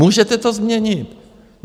Můžete to změnit.